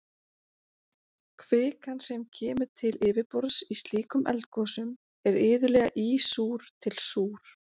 kvikan sem kemur til yfirborðs í slíkum eldgosum er iðulega ísúr til súr